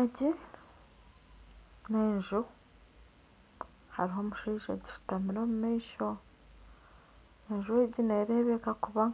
Enju hariho omushaija agishutamire omu maisho enju egi neerebeka kuba